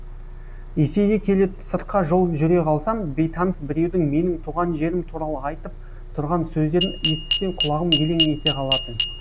есейе келе сыртқа жол жүре қалсам бейтаныс біреудің менің туған жерім туралы айтып тұрған сөздерін естісем құлағым елең ете қалатын